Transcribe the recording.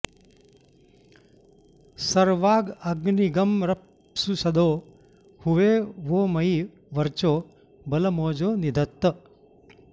सर्वाग्ं॑ अ॒ग्नीग्ं र॑प्सु॒षदो॑ हुवे वो॒ मयि॒ वर्चो॒ बल॒मोजो॒ निध॑त्त